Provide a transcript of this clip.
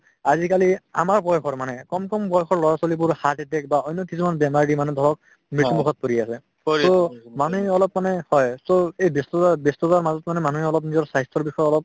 আজিকালি আমাৰ বয়সৰ মানে কম কম বয়সৰ লৰা-ছোৱালিবোৰ heart attack বা অন্য কিছুমান বেমাৰ যি মানে ধৰক মৃত্যু মুখত পৰি আছে to মানুহে অলপ মানে পাই so এই ব্যস্ততাত ব্যস্ততাৰ মাজত মানে মানুহে অলপ নিজৰ স্বাস্থ্যৰ বিষয়ে অলপ